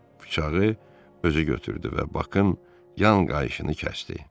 Bıçağı özü götürdü və Bakın yan qayışını kəsdi.